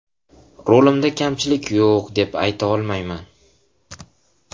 Rolimda kamchilik yo‘q, deb ayta olmayman.